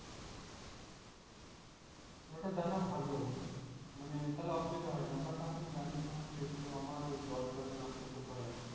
ওটা জানা ভালো মানে তাহলে অসুবিধা হয় না। but আমি জানিনা সেহেতু আমার ওই জলে টোলে নামতে খুব ভয় লাগে।